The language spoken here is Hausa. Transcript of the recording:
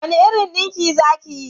Wani irin dinki za ki yi?